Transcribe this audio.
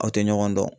Aw tɛ ɲɔgɔn dɔn